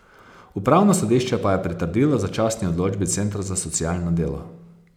Upravno sodišče pa je pritrdilo začasni odločbi centra za socialno delo.